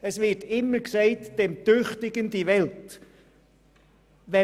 Es wird immer gesagt, den Tüchtigen solle die Welt gehören.